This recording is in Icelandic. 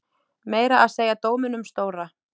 Meira að segja dóminum stóra.